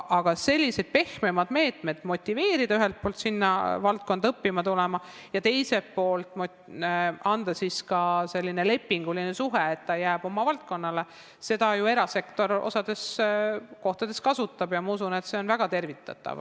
Aga selliseid pehmemaid meetmeid, et motiveerida ühelt poolt sinna valdkonda õppima minemist ja teiselt poolt tekitada lepinguline suhe, et ta jääks oma valdkonda tööle, erasektor osades kohtades ju kasutab ja ma usun, et see on väga tervitatav.